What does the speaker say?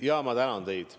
Jaa, ma tänan teid!